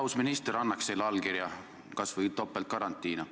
Aus minister annaks selle allkirja kas või topeltgarantiina.